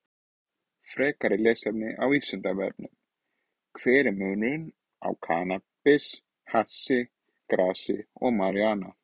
Frekara lesefni á Vísindavefnum: Hver er munurinn á kannabis, hassi, grasi og marijúana?